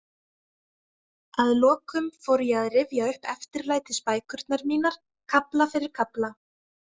Að lokum fór ég að rifja upp eftirlætisbækurnar mínar, kafla fyrir kafla.